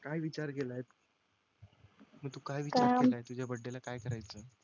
काय विचार केलाय की तू काय विचार केलाय तुझ्या बर्थडे ला काय करायचं?